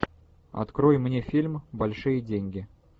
открой мне фильм большие деньги